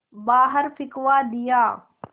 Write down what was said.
बाहर फिंकवा दिया